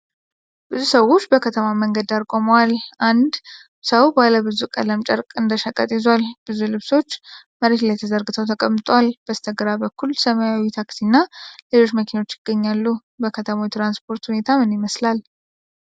ብዙ ሰዎች በከተማ መንገድ ዳር ቆመዋል። አንድ ሰው ባለ ብዙ ቀለም ጨርቅ እንደሸቀጥ ይዟል። ብዙ ልብሶች መሬት ላይ ተዘርግተው ተቀምጠዋል። በስተግራ በኩል ሰማያዊ ታክሲ እና ሌሎች መኪኖች ይገኛሉ። በከተማው የትራንስፖርት ሁኔታ ምን ይመስላል?